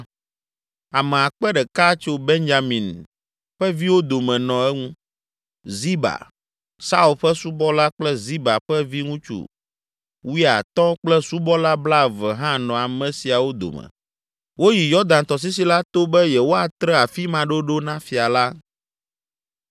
Ame akpe ɖeka tso Benyamin ƒe viwo dome nɔ eŋu. Ziba, Saul ƒe subɔla kple Ziba ƒe viŋutsu wuiatɔ̃ kple subɔla blaeve hã nɔ ame siawo dome. Woyi Yɔdan tɔsisi la to be yewoatre afi ma ɖoɖo na fia la.